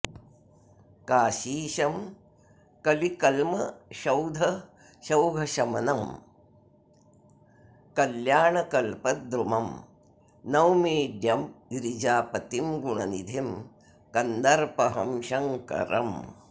काशीशं कलिकल्मषौघशमनं कल्याणकल्पद्रुमं नौमीड्यं गिरिजापतिं गुणनिधिं कन्दर्पहं शङ्करम्